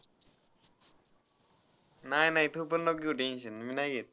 नाही नाही तू पण नको घेऊ tension मी नाही घेत.